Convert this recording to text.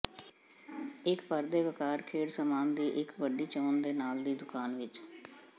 ਇੱਕ ਭਰ ਦੇ ਵੱਕਾਰ ਖੇਡ ਸਾਮਾਨ ਦੀ ਇੱਕ ਵੱਡੀ ਚੋਣ ਦੇ ਨਾਲ ਦੀ ਦੁਕਾਨ ਵਿਚ